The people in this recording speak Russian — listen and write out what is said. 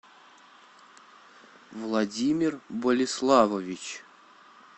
владимир болиславович